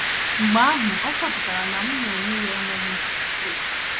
Mgbe ahụ, achọpụtara m na ya onwe ya kwa ekwesịghị ntụkwasị obi!